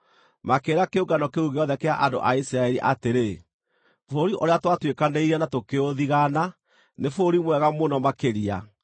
Makĩĩra kĩũngano kĩu gĩothe kĩa andũ a Isiraeli atĩrĩ, “Bũrũri ũrĩa twatuĩkanĩirie na tũkĩũthigana, nĩ bũrũri mwega mũno makĩria.